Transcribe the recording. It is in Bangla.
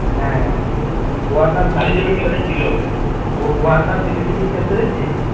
হ্যাঁ ওয়ার্নার দিল্লিতে গিয়ে খেলছে দেখছিস?